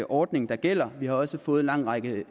ordning der gælder vi har også fået en lang række